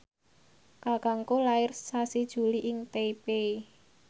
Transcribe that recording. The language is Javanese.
kakangku lair sasi Juli ing Taipei